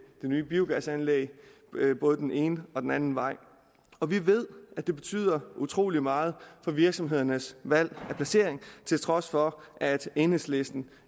nye biogasanlæg både den ene og den anden vej og vi ved at det betyder utrolig meget for virksomhedernes valg af placering til trods for at enhedslisten